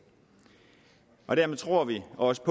og dermed tror vi også